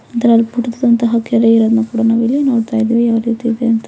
ಇದ್ರಲ್ಲಿ ಪುಟ್ಟದಂತ ಕೆರೆಯನ್ನುನಾವ್ ಇಲ್ಲಿ ನೋಡ್ತಿದೀವಿ ಯಾವ ರೀತಿ ಇದೆ ಅಂತ.